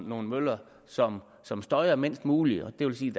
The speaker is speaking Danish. nogle møller som som støjer mindst muligt og det vil sige